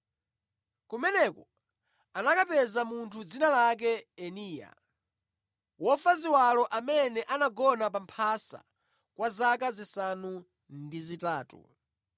Kumeneko anakapeza munthu dzina lake Eneya, wofa ziwalo amene anagona pa mphasa kwa zaka zisanu ndi zitatu.